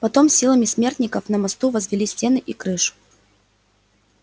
потом силами смертников на мосту возвели стены и крышу